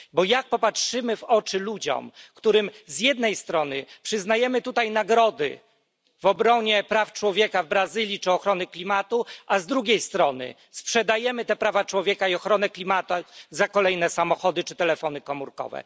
Bo jak popatrzymy w oczy ludziom, którym z jednej strony przyznajemy tutaj nagrody za obronę praw człowieka w Brazylii czy ochronę klimatu, a z drugiej strony sprzedajemy te prawa człowieka i ochronę klimatu za kolejne samochody czy telefony komórkowe?